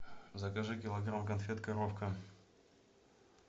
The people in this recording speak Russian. закажи килограмм конфет коровка